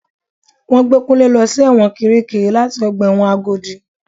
Wọ́n gbé Kunle lọ sí ẹ̀wọ̀n kirikiri láti ọgbà ẹ̀wọ̀n Agodi.